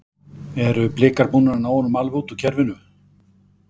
Eru Blikar búnir að ná honum alveg út úr kerfinu?